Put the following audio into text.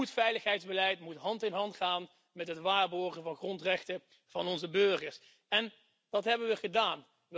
Goed veiligheidsbeleid moet hand in hand gaan met het waarborgen van de grondrechten van onze burgers en dat hebben we gedaan.